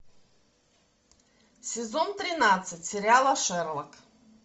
сезон тринадцать сериала шерлок